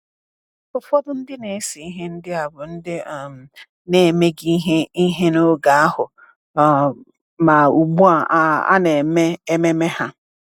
Ụfọdụ ndị na-ese ihe ndị a bụ ndị um na-emeghị ihe ihe n’oge ahụ, um ma ugbu a a na-eme ememe ha.